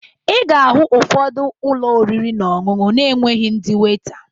Ị ga-ahụ ụfọdụ ụlọ oriri na ọṅụṅụ na-enweghi ndị weta